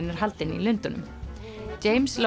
er haldinn í Lundúnum